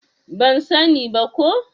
Ban sa ni ba ko